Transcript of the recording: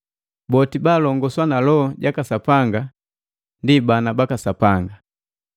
Boti baalongoswa na Loho jaka Sapanga ndi bana baka Sapanga.